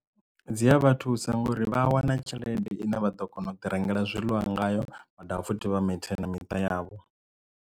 Dzi a vha thusa ngori vha a wana tshelede ine vha ḓo kona u ḓi rengela zwiḽiwa ngayo vha dovha futhi vha maintain na miṱa yavho.